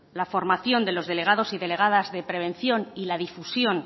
la formación de los delegados y delegados de prevención y la difusión